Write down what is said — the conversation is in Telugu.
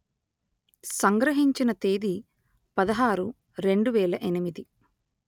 సంగ్రహించిన తేదీ పదహారు రెండు వేల ఎనిమిది